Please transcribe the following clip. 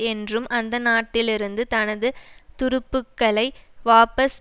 என்றும் அந்த நாட்டிலிருந்து தனது துருப்புக்களை வாபஸ்